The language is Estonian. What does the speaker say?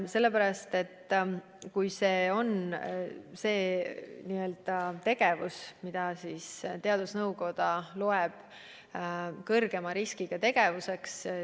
Rühmatreeningud on tegevus, mida teadusnõukoda peab kõrgema riskiga tegevuseks.